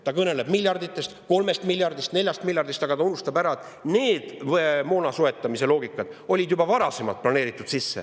Ta kõneleb miljarditest, 3 miljardist, 4 miljardist, aga ta unustab ära, et need moonasoetamise loogikad olid juba varasemalt sisse planeeritud.